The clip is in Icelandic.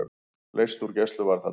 Leyst úr gæsluvarðhaldi